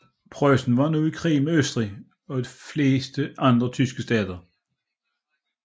Preussen var nu i krig mod Østrig og de fleste andre tyske stater